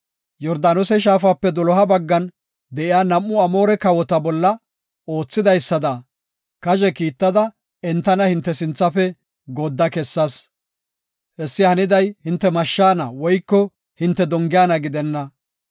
Yordaanose shaafape doloha baggan de7iya nam7u Amoore kawota bolla oothidaysada, kazhe kiittada entana hinte sinthafe goodda kessas. Hessi haniday, hinte mashshaana woyko hinte dongiyana gidenna.